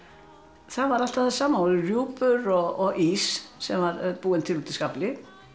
það var alltaf það sama það voru rjúpur og ís sem var búinn til út í skafli